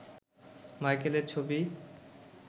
মাইকেলের ছবি